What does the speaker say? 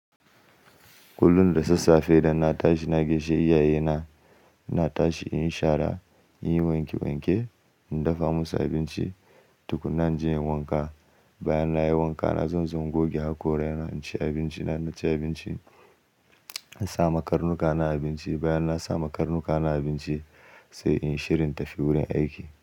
Kullum da sassafe idan na tashi na gaishe iyayena. iNa tashi in yi shara, in yi wanke wanke, in dafa musu abinci tukuna inje inyi wanka. Bayan na yi wanka, na zan zo in goge hakora, in ci abinci. Na ci abinci, na sa ma karnuka na abinci. Bayan na sa ma karnuka na abinci, sai in shirya in tafi wurin aiki.